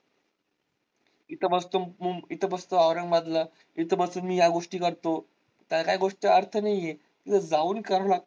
इथं मस्त मुं इथं बस्त औरंगाबाद ला इथे बसून मी या गोष्टी करतो. तर त्या गोष्टी अर्थ नाहीये जाऊन करणार.